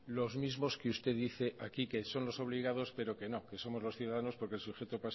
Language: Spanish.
los mismos que usted dice aquí que son los obligados pero que no que no somos los ciudadanos porque el sujeto